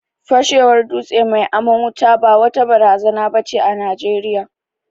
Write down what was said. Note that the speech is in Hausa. Fashewar dutse mai aman wuta ba wata barazana ba ce a Najeriya.